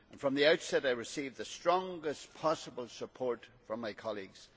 From the outset I received the strongest possible support from my colleagues.